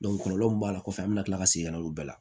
kɔlɔlɔ min b'a la kɔfɛ an bɛna tila ka segin ka na olu bɛɛ la